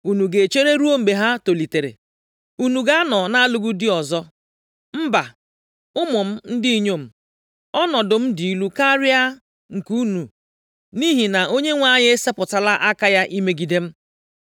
unu ga-echere ruo mgbe ha tolitere? Unu ga-anọ na-alụghị di ọzọ? Mba, ụmụ m ndị inyom, ọnọdụ m dị ilu karịa nke unu, nʼihi + 1:13 \+xt Nkp 2:15; Job 19:12; Abụ 38:2\+xt* na Onyenwe anyị esepụtala aka ya imegide m.”